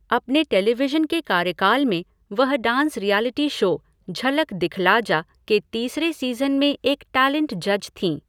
अपने टेलीविशन के कार्यकाल में, वह dance reality show, 'Jhalak Dikhla Jaa' के तीसरे सीज़न में एक टैलेंट जज थीं।